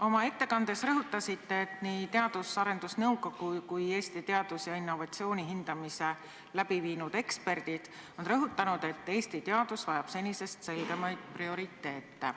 Oma ettekandes te rõhutasite, et nii Teadus- ja Arendusnõukogu kui ka Eesti teadus- ja innovatsioonisüsteemi hindamist läbi viinud eksperdid on rõhutanud, et Eesti teadus vajab senisest selgemaid prioriteete.